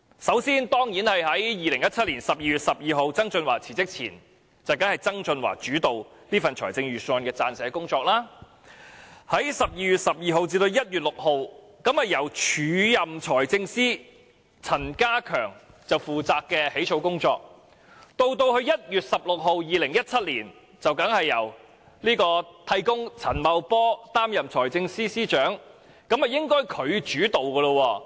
首先，在2016年12月12日曾俊華辭職前，當然是由曾俊華主導預算案的撰寫工作；在2016年12月12日至2017年1月6日期間，則由署任財政司司長陳家強負責草擬工作；到了2017年1月16日之後，替工陳茂波當上了財政司司長，此後便應該由他主導。